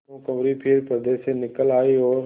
भानुकुँवरि फिर पर्दे से निकल आयी और